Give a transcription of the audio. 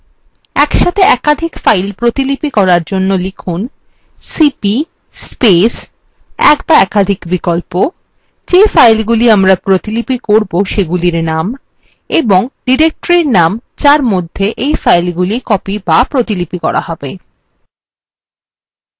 একসাথে একাধিক files প্রতিলিপি করার জন্য লিখুন